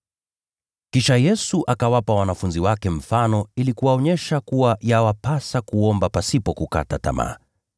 Kisha Yesu akawapa wanafunzi wake mfano ili kuwaonyesha kuwa yawapasa kuomba pasipo kukata tamaa.